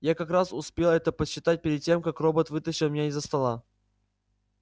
я как раз успел это подсчитать перед тем как робот вытащил меня из-за стола